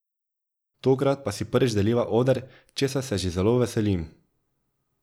Tokrat pa si prvič deliva oder, česar se že zelo veselim.